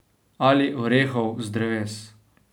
Ali orehov z dreves.